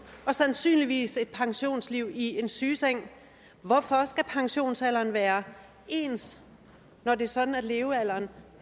og sandsynligvis et pensionsliv i en sygeseng hvorfor skal pensionsalderen være ens når det er sådan at levealderen